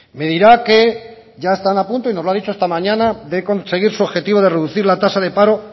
me dirá que ya están a punto y nos lo ha dicho esta mañana de conseguir su objetivo de reducir la tasa de paro